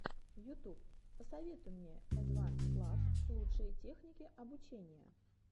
ютуб посоветуй мне эдванс клаб лучшие техники обучения